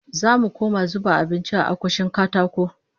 Zamu koma zuba abinci a akushin katako